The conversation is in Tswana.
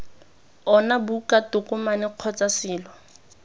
ona buka tokomane kgotsa selo